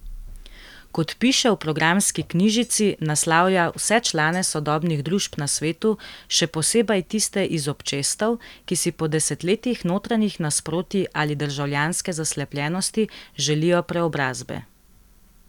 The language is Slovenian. Kot piše v programski knjižici, naslavlja vse člane sodobnih družb na svetu, še posebej tiste iz občestev, ki si po desetletjih notranjih nasprotij ali državljanske zaslepljenosti želijo preobrazbe.